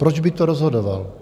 "Proč by to rozhodoval?"